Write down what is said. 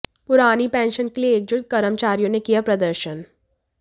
पुरानी पेंशन के लिए एकजुट कर्मचारियों ने किया प्रदर्शन